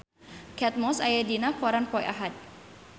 Kate Moss aya dina koran poe Ahad